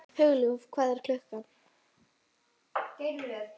Hugljúf, hvað er klukkan?